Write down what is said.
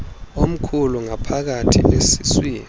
omkhulu ngaphakathi esiswini